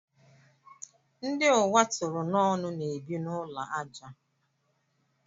Ndị ụwa tụrụ n'ọnụ na-ebi n'ụlọ ajá.